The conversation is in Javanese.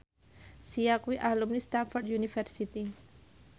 Sia kuwi alumni Stamford University